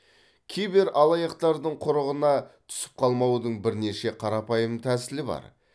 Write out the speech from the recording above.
кибералаяқтардың құрығына түсіп қалмаудың бірнеше қарапайым тәсілі бар